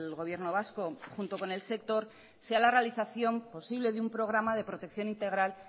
gobierno vasco junto con el sector sea la realización posible de un programa de protección integral